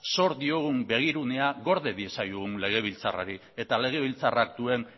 zor diogun begirunea gorde diezaiogun legebiltzarrari eta legebiltzarrak duen